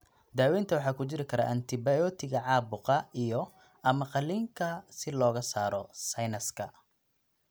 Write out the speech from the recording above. Daawaynta waxaa ku jiri kara antibiyootiga caabuqa iyo/ama qaliinka si looga saaro sinuska.